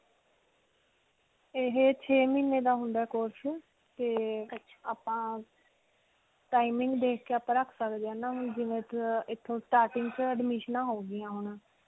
ਇਹੇ ਛੇ ਮਹੀਨੇ ਦਾ ਹੁੰਦਾ course. ਤੇ ਆਪਾਂ timing ਦੇਖ ਕੇ ਆਪਾਂ ਰਖ ਸਕਦੇ ਹਾਂ ਨਾ, ਹੁਣ ਜਿਵੇਂ ਏਥੋਂ starting 'ਚ ਏਡਮੀਸਨਾਂ ਹੋ ਗਈਆਂ ਹੁਣ.